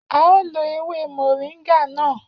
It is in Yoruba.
A ó lo ewé moringa náà